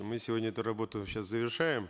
мы сегодня эту работу сейчас завершаем